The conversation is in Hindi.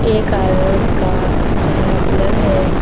एक औरत का चेहरा ब्लर है।